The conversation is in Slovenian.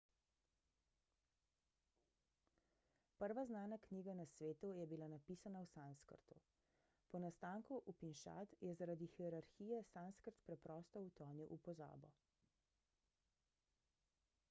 prva znana knjiga na svetu je bila napisana v sanskrtu po nastanku upinšad je zaradi hierarhije sanskrt preprosto utonil v pozabo